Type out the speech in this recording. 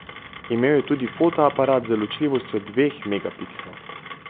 Imel je tudi fotoaparat z ločljivostjo dveh megapikslov.